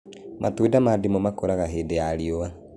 Matunda ma ndimũ makũraga hingo ya riũa